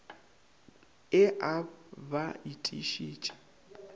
e a b ba itišitše